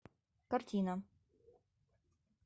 картина